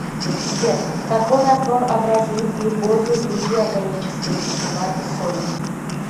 сбер какой раствор образуют глюкоза и другие органические вещества и соли